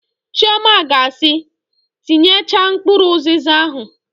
Chiọma ga asị, "tinyechaa mkpụrụ ụzịza ahụ"!